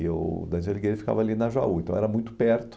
E o Dante Alighieri ficava ali na Jaú, então era muito perto.